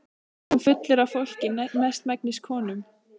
Hann kom aftur fullur af fólki, mestmegnis konum.